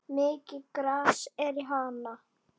Mikið gras er í Hana.